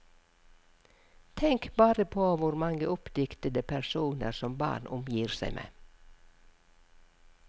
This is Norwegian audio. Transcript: Tenk bare på hvor mange oppdiktede personer som barn omgir seg med.